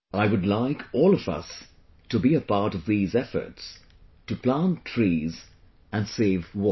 I would like all of us to be a part of these efforts to plant trees and save water